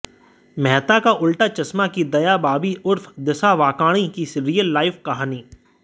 मेहता का उलटा चश्मा की दया भाभी उर्फ दिशा वाकाणी की रियल लाइफ कहानी